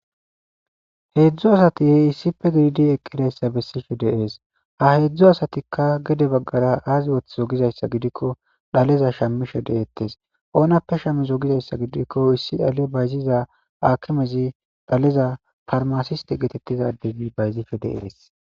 heedzdzu asati he issife gididi eqqidayssa bessife deees ha heedzdzu asatikka gede baggara aaze ooth zogizayssa gidikko dhaleza shamishe deettes oonappe shammi zogizayssa gidikko issi dhale bayziza akimezi dhaleza farmasiste geetettiza ademi bayzife deees